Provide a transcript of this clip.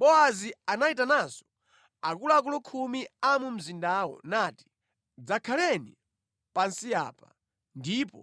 Bowazi anayitananso akuluakulu khumi a mu mzindamo nati, “Dzakhaleni pansi apa,” ndipo